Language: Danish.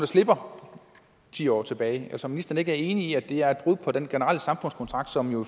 slipper ti år tilbage altså er ministeren ikke enig i at det er et brud på den generelle samfundskontrakt som jo